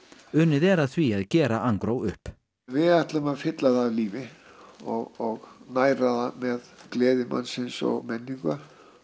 unnið er að því að gera upp við ætlum að fylla það af lífi og næra það með gleði mannsins og menningu